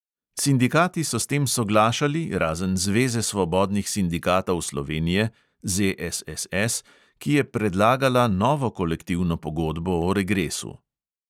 Sindikati so s tem soglašali, razen zveze svobodnih sindikatov slovenije ki je predlagala novo kolektivno pogodbo o regresu.